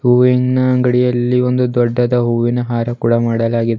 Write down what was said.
ಹೂವಿನ ಅಂಗಡಿಯಲ್ಲಿ ಒಂದು ದೊಡ್ಡದ ಹೂವಿನ ಹಾರ ಕೂಡ ಮಾಡಲಾಗಿದೆ.